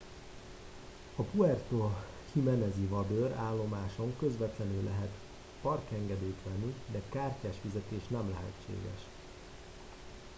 a puerto jiménez i vadőr állomáson közvetlenül lehet parkengedélyt venni de kártyás fizetés nem lehetséges